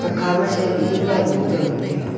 akhama sai mihnyui nyam buhyao ngantega.